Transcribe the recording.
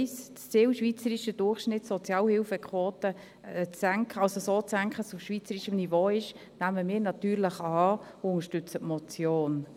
Das Ziel, den schweizerischen Durchschnitt der Sozialhilfequote so zu senken, dass sie auf schweizerischem Niveau ist, nehmen wir natürlich an und unterstützen die Motion.